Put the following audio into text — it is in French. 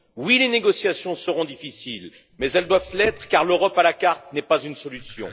Oui, les négociations seront difficiles, mais elles doivent l'être, car l'Europe à la carte n'est pas une solution.